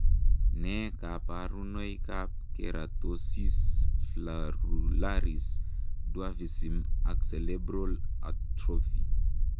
Nee kabarunoikab Keratosis follicularis dwarfism ak cerebral atrophy?